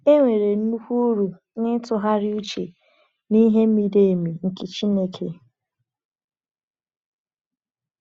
Enwere nnukwu uru n’ịtụgharị uche n’ihe miri emi nke Chineke.